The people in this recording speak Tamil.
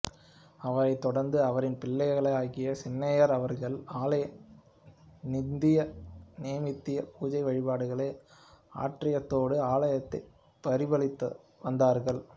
அவரைத் தொடர்ந்து அவரின் பிள்ளையாகிய சின்னையர் அவர்கள் ஆலய நித்திய நைமித்திய பூஜை வழிபாடுகளை ஆற்றியதோடு ஆலயத்தை பரிபாலித்தும் வந்தார்கள்